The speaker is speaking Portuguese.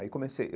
Aí comecei.